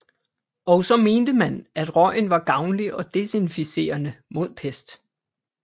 Og så mente man at røgen var gavnlig og desinficerende mod pest